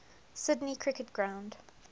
sydney cricket ground